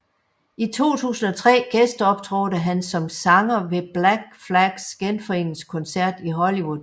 I 2003 gæsteoptrådte han som sanger ved Black Flags genforeningskoncert i Hollywood